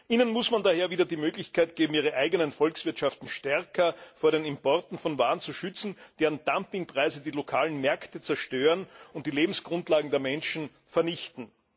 Ihnen muss man daher wieder die Möglichkeit geben, ihre eigenen Volkswirtschaften stärker vor den Importen von Waren zu schützen, deren Dumpingpreise die lokalen Märkte zerstören und die Lebensgrundlagen der Menschen vernichten.